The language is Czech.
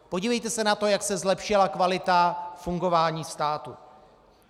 Podívejte se na to, jak se zlepšila kvalita fungování státu.